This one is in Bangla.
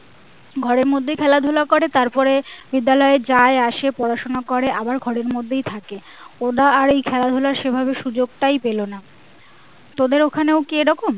ঘরের মধ্যেই খেলা ধুলা করে তারপরে বিদ্যালয় যাই আসে পড়াশুনো করে আবার ঘরের মধ্যেই থাকে ওরা আর এই খেলা ধুলার সেভাবে সুযোগটাই পেলো না তোদের ঐখানেও কি এই রকম?